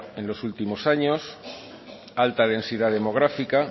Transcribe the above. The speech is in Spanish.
en los últimos años alta densidad demográfica